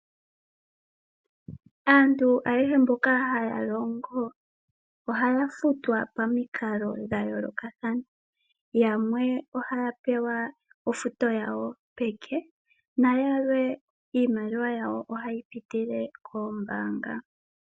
Aantu ayehe mboka haya longo ohaya futwa pamikalo dhayoolokathana yamwe ohaya pewa ofuto yawo peke nayalwe iimaliwa yawo ohayi pitile kombaanga.